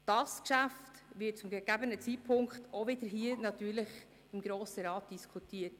Dieses Geschäft wird natürlich zu gegebenem Zeitpunkt hier im Grossen Rat diskutiert.